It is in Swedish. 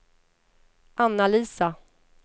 Anna-Lisa